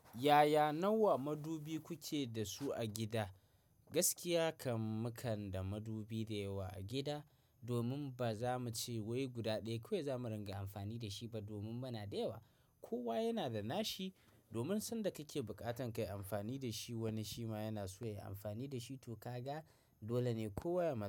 Yaya nawa madubi kuke da su a gida? Gaskiya kam muna da madubi dayawa a gida, domin baza mu ce wai guda ɗaya kawai za mu ringa amfani da shi ba domin muna da yawa. Kowa yana da nashi domin sanda kake bukatan kayi amfani da shi, wani shi ma yana so yayi amfani da shi to ka ga dole ne kowa ya-